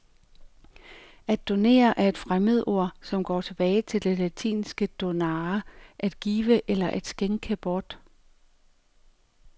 At donere er et fremmedord, som går tilbage til det latinske donare, at give eller at skænke bort.